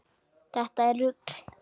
Þetta er rugl.